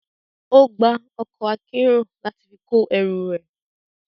Ó gba ọkọ̀ akérò láti fi kó ẹrù ẹ.